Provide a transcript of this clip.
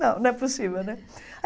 Não, não é possível, não é?